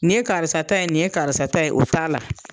Nin ye karisa ta ye nin ye karisa ta ye o t'a la